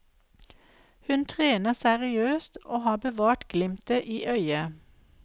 Hun trener seriøst og har bevart glimtet i øyet.